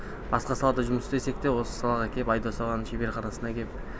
басқа салада жұмыс істесек те осы салаға кеп айдос ағаның шеберханасына кеп